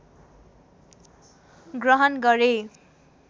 ग्रहण गरे